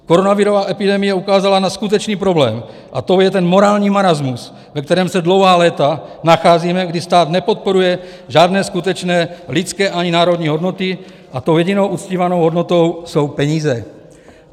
Koronavirová epidemie ukázala na skutečný problém a tím je ten morální marasmus, ve kterém se dlouhá léta nacházíme, kdy stát nepodporuje žádné skutečné lidské, ani národní, hodnoty a tou jedinou uctívanou hodnotou jsou peníze.